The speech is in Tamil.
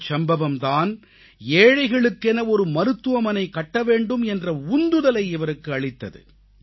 இந்தச் சம்பவம் தான் ஏழைகளுக்கென ஒரு மருத்துவமனை கட்ட வேண்டும் என்ற உந்துதலை இவருக்கு அளித்தது